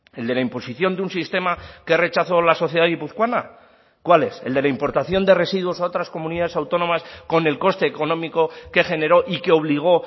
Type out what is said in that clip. el de la imposición de un sistema que rechazó la sociedad guipuzcoana cuál es el de la importación de residuos a otras comunidades autónomas con el coste económico que generó y que obligó